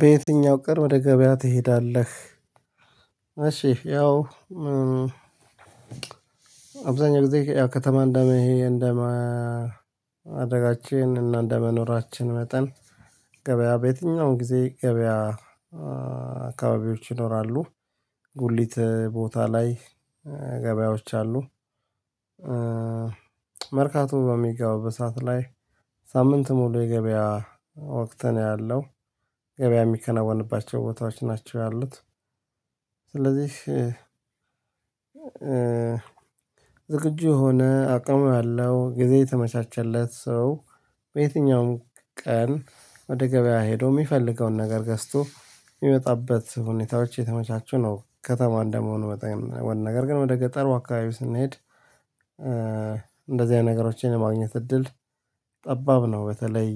በየትኛው ቀን ወደ ገበያ ትሄዳለህ? እሺ ያው አብዛኛው ጊዜ ያው ከተማ እንደ ይሄ እንደማ አደጋችን እና እንደመኖራችን መጠን ገበያ በየትኛውም ጊዜ ገበያ አካባቢዎች ይኖራሉ ጉሊት ቦታ ላይ ገበያዎች አሉ። መርካቶ በሚገባው በሰአት ላይ ሳምንት ሙሉ የገበያ ወቅት ነው ያለው ገበያ የሚከናወንባቸው ቦታዎች ናቸው ያሉት። ስለዚህ ዝግጁ የሆነ አቅም አለው ጊዜ የተመቻቸለት ሰው በየትኛውም ቀን ወደ ገበያ ሄዶ የሚፈልገውን ነገር ገዝቶ የሚመጣበት ሁኔታዎች የተመቻቹ ነው። ከተማ እንደመሆኑ መጠን ነገር ግን ወደ ገጠሩ አካባቢ ስንሄድ እንደዚህ አይነት ነገሮችን የማግኘት እድል ጠባብ ነው። በተለይ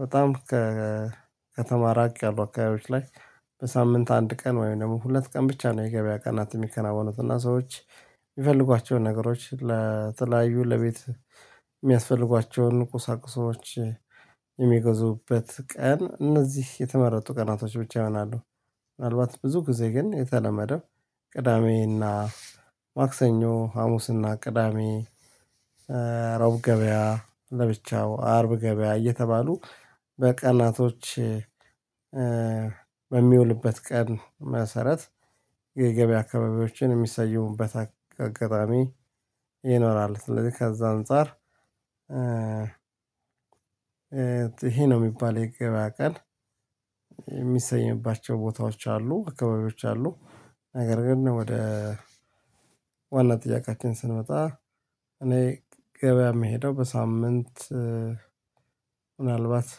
በጣም ከከተማ ራቅ ያሉ አካባቢዎች ላይ በሳምንት አንድ ቀን ወይም ደግሞ ሁለት ቀን ብቻ ነው የገበያ ቀናት የሚከናወኑት። እና ሰዎች የሚፈልጓቸውን ነገሮች ለተለያዩ ለቤት የሚያስፈልጓቸውን ቁሳቁሶች የሚገዙበት ቀን እነዚህ የተመረጡ ቀናቶች ብቻ ይሆናሉ። ምናልባት ብዙ ጊዜ ግን የተለመደው ቅዳሜ እና ማክሰኞ ሀሙስ ቅዳሜ ሮብ ገበያ ለብቻው አርብ ገበያ እየተባሉ በቀናቶች በሚውልበት ቀን መሰረት የገበያ አካባቢዎችን የሚሰይሙበት አጋጣሚ ይኖራሉ። ስለዚህ ከዛ አንፃር ይሄ ነው የሚባል የገበያ ቀን የሚሰየባቸው ቦታዎች አሉ አካባቢዎች አሉ። ነገር ግን ወደ ዋና ጥያቄን ስንመጣ እኔ ገበያ የምሄደው በሳምንት ምናልባት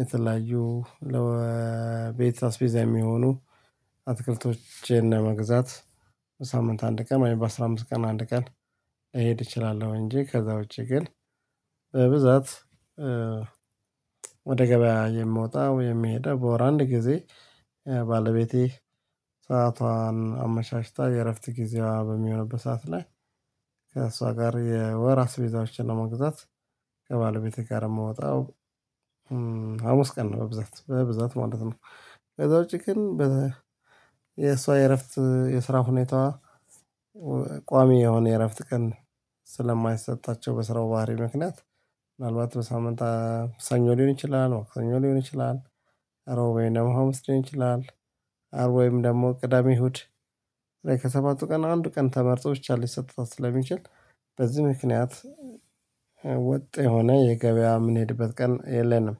የተለያዩ ለቤት አስቤዛ የሚሆኑ አትክልቶችን ለመግዛት በሳምንት አንድ ቀን በአስራ አምስት ቀን አንድ ቀን እሄድ እችላለሁ። እንጂ ከዛ ውጪ ግን በብዛት ወደ ገበያ የምወጣው የሚሄደው በወር አንድ ጊዜ ባለቤቴ ሰአቷን አመሻሽታ የእረፍት ጊዜዋ በሚሆንበት ሰዓት ላይ ከእሷ ጋር የወር አስቤዛዎችን ለመግዛት ከባለቤቴ ጋር የማወጣው አሙስት ቀን ነው በብዛት በብዛት ማለት ነው። ከዛ ውጪ ግን የሷ የእረፍት የስራ ሁኔታ ቋሚ የሆነ የእረፍት ቀን ስለማይሰጣቸው በስራው ባህሪ ምክንያት ምናልባት በሳምንት ሰኞ ሊሆን ይችላል ማክሰኞ ሊሆን ይችላል። እሮብ ወይም ሀሙስ ሊሆን ይችላል። አርብ ወይም ደግሞ ቅዳሜ እሁድ ከሰባቱ ቀን አንድ ቀን ተመርጦ ብቻ ሊሰጥታት ስለሚችል በዚህ ምክንያት። ወጥ የሆነ የገበያ የምንሄድበት ቀን የለንም።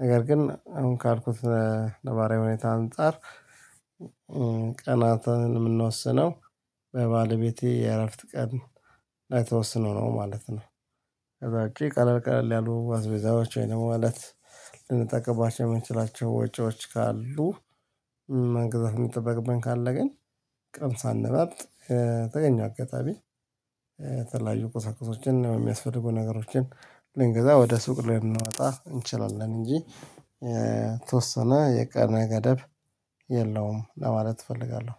ነገር ግን አሁን ካልኩት ነባሪያዊ ሁኔታ አንፃር ቀናትን ምንወስነው በባለቤቴ የእረፍት ቀን ላይ ተወስኖ ነው ማለት ነው። ከዛ ቀለል ቀለል ያሉ አዝቤዛዎች ወይ ደግሞ ማለት ልንጠቅብባቸው የምንችላቸው ወጪዎች ካሉ መግዛት የሚጠበቅብን ካለ ግን ቀን ሳንመርጥ በተገኝው አጋጣሚ ተለያዩ ቁሳቁሶችን የሚያስፈልጉ ነገሮችን ልንገዛ ወደ ሱቅ ልንመጣ እንችላለን። እንጂ ተወሰነ የቀነ ገደብ የለውም ለማለት እፈልጋለሁ